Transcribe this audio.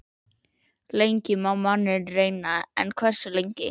Lengi má manninn reyna- en hversu lengi?